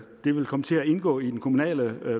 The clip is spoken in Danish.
det vil komme til at indgå i den kommunale